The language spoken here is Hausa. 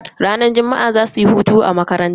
Ranar juma'a zasuyi hutu a makaranta.